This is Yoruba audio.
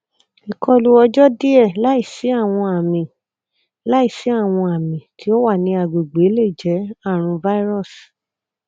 ikọlu ọjọ diẹ laisi awọn ami laisi awọn ami ti o wa ni agbegbe le jẹ arun virus